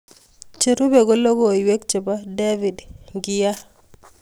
Cherube ko logoiwek chebo David Nkya.